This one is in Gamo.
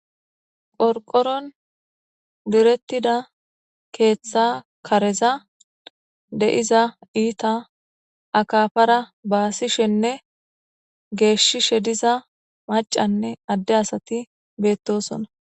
Qorqoron direttida keeththa kareza de'iza iita akafara baasishenne geeshshishe diza macanne adde asati beettosona.